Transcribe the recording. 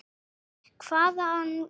Breki: Hvað, hvaðan ertu?